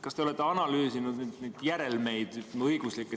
Kas te olete järelmeid õiguslikult analüüsinud?